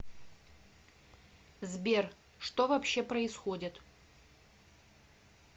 сбер что вообще происходит